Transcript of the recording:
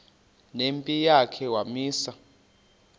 nempi yakhe wamisa